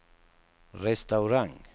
restaurang